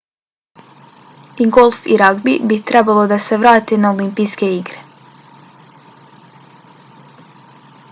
i golf i ragbi bi trebalo da se vrate na olimpijske igre